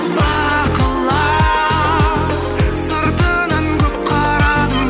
бақылап сыртынан көп қарадым